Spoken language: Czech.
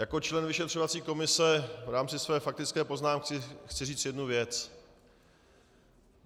Jako člen vyšetřovací komise v rámci své faktické poznámky chci říci jednu věc.